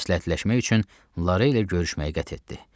Məsləhətləşmək üçün Lara ilə görüşməyi qət etdi.